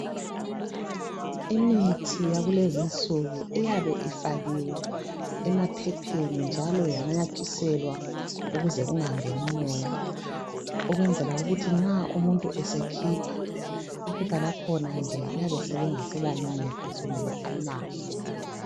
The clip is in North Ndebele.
Imithi yakulezinsuku iyabe ifakhiwe emaphepheni njalo yanyanathiselwa ukuze kungangeni umoya ekwenzela ukuthi nxa umuntu esekhipha iphepha lakhona nje liyabe selingaselancedo sokumele alilahle.